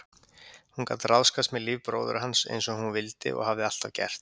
Hún gat ráðskast með líf bróður hans einsog hún vildi og hafði alltaf gert.